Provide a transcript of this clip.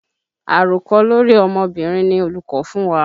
Àròkọ lórí ọmọbìnrin ni olùkọ́ fún wa.